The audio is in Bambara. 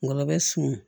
Ngɔlɔbɛ sun